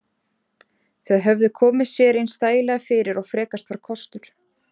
Þau höfðu komið sér eins þægilega fyrir og frekast var kostur.